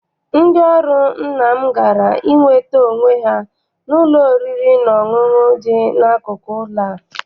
Ndị ọrụ nna m gara inweta onwe ha n'ụlọ oriri na ọṅụṅụ dị n'akụkụ ụlọ a.